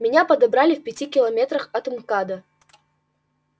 меня подобрали в пяти километрах от мкада